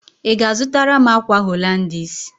Ị ga-azụtara m ákwà Holandis?